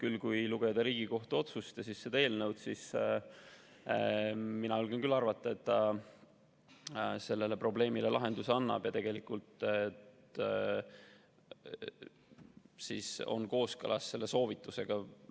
Aga kui lugeda Riigikohtu otsust ja seda eelnõu, siis mina julgen küll arvata, et ta sellele probleemile lahenduse annab ja on selle soovitusega kooskõlas.